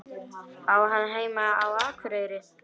Á hann heima á Akureyri?